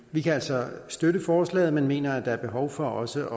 vi kan altså støtte forslaget men mener at der fremadrettet er behov for også